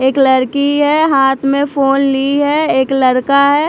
एक लड़की है हाथ में फोन ली है एक लड़का है।